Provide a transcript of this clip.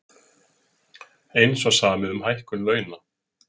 Eins var samið um hækkun launa